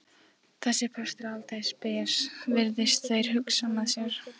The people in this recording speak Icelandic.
Þessi prestur er aldeilis spes, virðast þeir hugsa með sér.